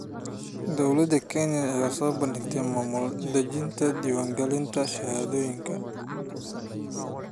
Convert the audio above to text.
Dowladda Kenya ayaa soo bandhigtay maamul daadejinta diiwaan gelinta shahaadooyinka.